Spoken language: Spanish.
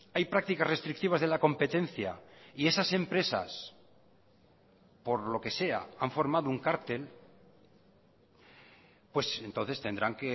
hay prácticas restrictivas de la competencia y esas empresas por lo que sea han formado un cártel pues entonces tendrán